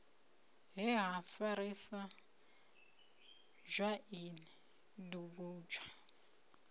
he ha farisa dzwaini dugudzha